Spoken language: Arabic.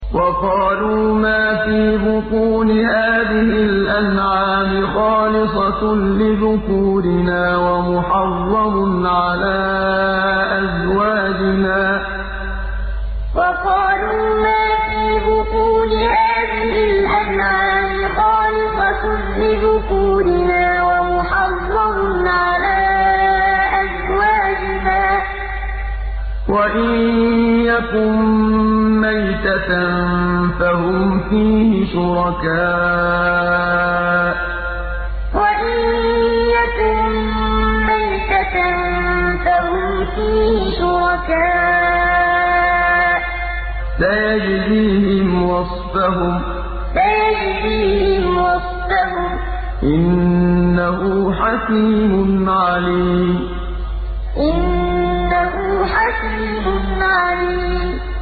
وَقَالُوا مَا فِي بُطُونِ هَٰذِهِ الْأَنْعَامِ خَالِصَةٌ لِّذُكُورِنَا وَمُحَرَّمٌ عَلَىٰ أَزْوَاجِنَا ۖ وَإِن يَكُن مَّيْتَةً فَهُمْ فِيهِ شُرَكَاءُ ۚ سَيَجْزِيهِمْ وَصْفَهُمْ ۚ إِنَّهُ حَكِيمٌ عَلِيمٌ وَقَالُوا مَا فِي بُطُونِ هَٰذِهِ الْأَنْعَامِ خَالِصَةٌ لِّذُكُورِنَا وَمُحَرَّمٌ عَلَىٰ أَزْوَاجِنَا ۖ وَإِن يَكُن مَّيْتَةً فَهُمْ فِيهِ شُرَكَاءُ ۚ سَيَجْزِيهِمْ وَصْفَهُمْ ۚ إِنَّهُ حَكِيمٌ عَلِيمٌ